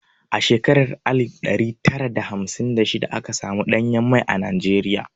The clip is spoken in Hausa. A shekarar alif ɗari tara da hamsin da shida aka samu ɗanyen mai a Najeriya.